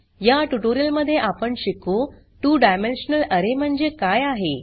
या ट्युटोरियलमध्ये आपण शिकू 2डायमेन्शनल अरे म्हणजे काय आहे